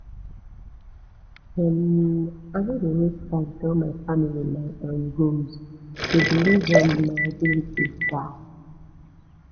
um i no dey waste time tell my family my um goals dey believe um my abilities die